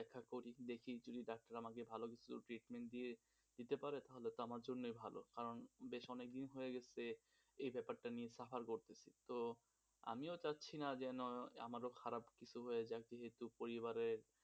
দেখি যদি ডাক্তার আমাকে ভালো কিছু treatment দিয়ে দিতে পারে তাহলে তো আমার জন্যই ভালো কারণ বেশ অনেক দিক হয়ে গেছে এ ব্যাপারটা নিয়ে suffer করতেছি, তো আমি ও চাছছিনা যে আমারও খারাপ কিছু হয়ে যাক, যেহেতু পরিবারে